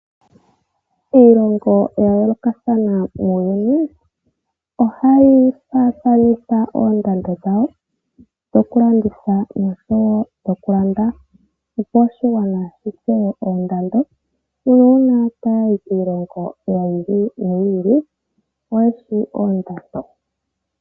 Iilongo ya yoolokathana muuyuni ohayi faathanitha oondando dhawo dhoku landitha oshowo oku landa, opo oshigwana shi tseye oondando nuuna taya yi kiilongo yi ili noyi ili oyeshi oondando.